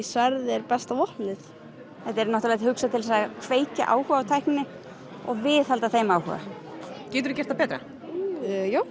sverð er besta vopnið þetta er hugsað til að kveikja áhuga á tækninni og viðhalda þeim áhuga geturðu gert það betra já